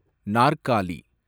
நாற்காலி